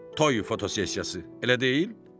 Toy fotosessiyası, elə deyil?